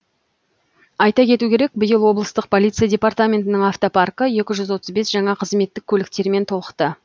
айта кету керек биыл облыстық полиция департаментінің автопаркі екі жүзотыз бес жаңа қызметтік көліктермен толықты